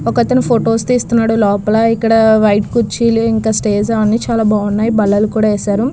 ఒక అతను ఫొటోస్ తీసున్నాడు లోపల ఇక్కడ వైట్ కుచ్చిళ్లు ఇంకా స్టేజు అన్ని బాగున్నాయి ఇక్కడ బల్లలు కూడా వేసారు.